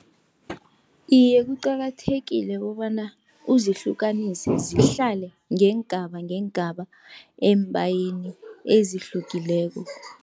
Iye, kuqakathekile kobana uzihlukanise, zihlale ngeengaba, ngeengaba embayeni ezihlukileko.